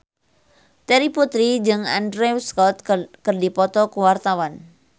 Terry Putri jeung Andrew Scott keur dipoto ku wartawan